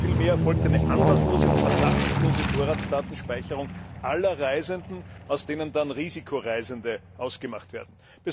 Nein, vielmehr erfolgt eine anlasslose und verdachtslose Vorratsdatenspeicherung aller Reisenden, aus denen dann Risikoreisende ausgemacht werden.